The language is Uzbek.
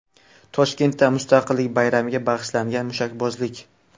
Toshkentda Mustaqillik bayramiga bag‘ishlangan mushakbozlik.